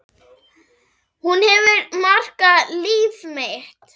Hún hefur markað líf mitt.